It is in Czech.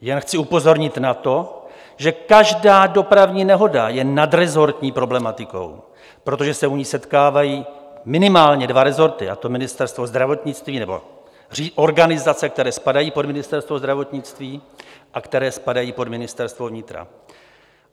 Jen chci upozornit na to, že každá dopravní dohoda je nadresortní problematikou, protože se u ní setkávají minimálně dva resorty, a to Ministerstvo zdravotnictví - nebo organizace, které spadají pod Ministerstvo zdravotnictví - a které spadají pod Ministerstvo vnitra.